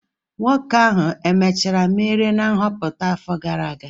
Nwoke ahụ emechara merie na nhọpụta afọ gara aga?